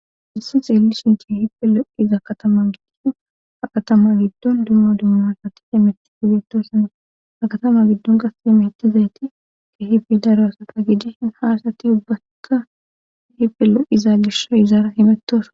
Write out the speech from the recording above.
hayssi xeellishin kehipe lo'iza katama giddiko ha katama giddon dumma dumma asati yemetti hugetosane akatama giddon qas yemeettizayti kehifi daraasaka gije haasati ubbaka hippe lo'iza gishawu izaara himettosona